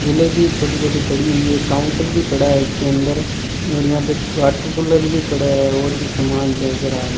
स्टूले भी छोटी छोटी पड़ी हुई है काउंटर भी पड़ा है इसके अंदर और यहां पे वॉटर कूलर भी पड़ा है और भी सामान नज़र आ रहा है।